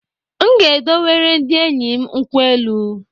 Nga edowere ndi enyi m nkwụ-elụ